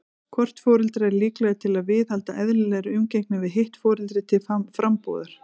Hvort foreldra er líklegra til að viðhalda eðlilegri umgengni við hitt foreldri til frambúðar?